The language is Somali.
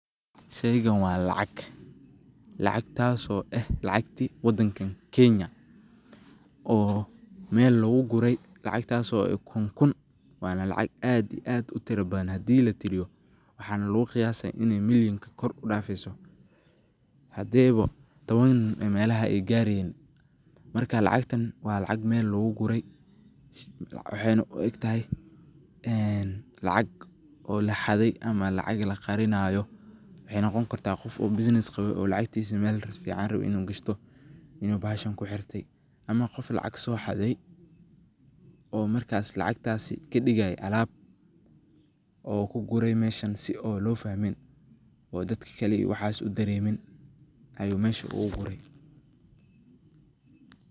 Sheygan wa lacag, lacagtaso eeh lacagta wadankani kenya oo meel lugugure lacagtaso eeh kuun kuun wana lacag aad iyo utiro badan hadi latiriyo waxa luguqayasi inni milyan ey koor udafi hadeyba tawan melaha ey gareynin marka lacagta wa lacag meel lugugure wexweyna uegtahay lacag laxaday ama lacag laqarinayo. Wexey noqoni karta qof oo business rawo oo lacagtisa rawo in uu melfican gashto in uu bahashan kuxirte ama qof lacag soxade oo lacgtas kadigaye alaab oo kugurey meeshan sii oo lofahmin oo dadka kale waxas udaremin ayu meesha ogugure.